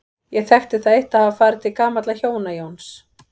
Ég þekkti það eitt að hafa farið til gamalla hjóna, Jóns